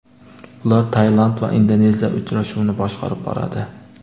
Ular Tailand va Indoneziya uchrashuvini boshqarib boradi .